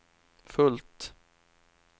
fullt